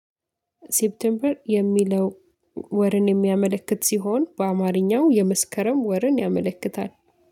ሴፕቴምበር የሚለው ወርን የሚያመለክት ሲሆን በአማርኛው የመስከረም ወርን ያመለክታል